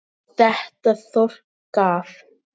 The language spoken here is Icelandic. Þetta þorp gaf